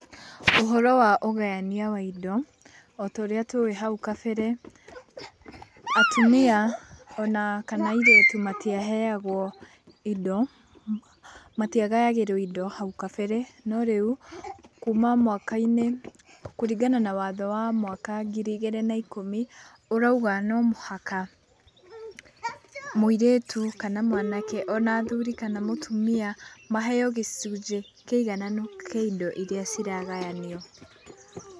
Ũhoro wa ũgayania wa indo o ta ũrĩa tũĩ hau kabere atumia ona kana airĩtu matiaheagwo indo matiagayagĩrwo indo hau kabere. No rĩu kuma mwaka-inĩ kũringana na watho wa mwaka wa ngiri igĩrĩ na ikũmi ũrauga no mũhaka, mũirĩtu kana mwanake ona athuri kana atumia maheo gĩcunjĩ kĩigananu kĩa indo iria ciragayanio.